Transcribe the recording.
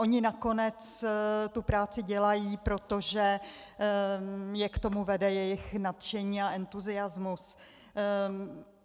Oni nakonec tu práci dělají, protože je k tomu vede jejich nadšení a entuziasmus.